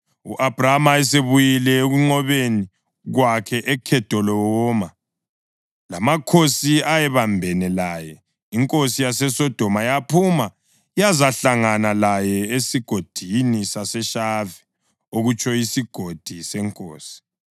U-Abhrama esebuyile ekunqobeni kwakhe uKhedolawoma lamakhosi ayebambene laye, inkosi yaseSodoma yaphuma yazahlangana laye eSigodini saseShave (okutsho iSigodi seNkosi).